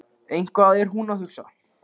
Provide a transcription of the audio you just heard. Eitthvað er hún að hugsa.